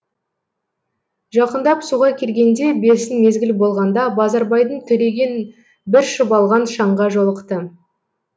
жақындап суға келгенде бесін мезгіл болғанда базарбайдың төлеген бір шұбалған шаңға жолықты